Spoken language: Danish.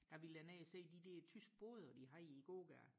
der ville jeg ned og se de der tyske boder de har i gågaderne